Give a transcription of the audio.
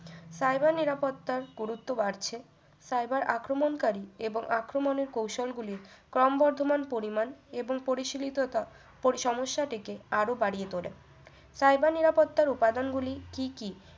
cyber নিরাপত্তার গুরুত্ব বাড়ছে cyber আক্রমণ কারী এবং আক্রমণের কৌশল গুলি ক্রমবর্ধমান পরিমাণ এবং পরিসীমিত তা সমস্যাটিকে আরও বাড়িয়ে তোলে cyber নিরাপত্তার উপাদান গুলি কি কি